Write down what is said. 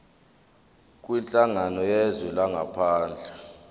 kwinhlangano yezwe langaphandle